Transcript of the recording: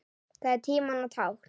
Það er tímanna tákn.